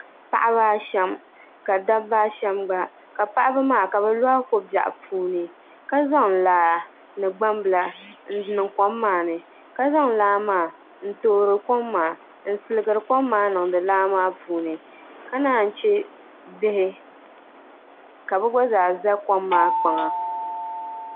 Paɣaba ashɛm ni dabba ashɛm gba ka paɣaba maa ka bi loɣi ko biɛɣu puuni ka zaŋ laa ni gbambila n bɛ kom maa ni ka zaŋ laa maa n toori kom maa n sirigiri kom maa niŋdi laa maa puuni ka naan chɛ bihi ka bi gba zaa ʒɛ kom maa kpaŋa